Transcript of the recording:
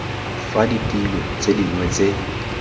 fa ditilo tse dingwe tse